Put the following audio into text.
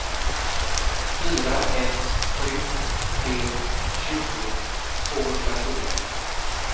fyra ett sju tre tjugo tvåhundrafyra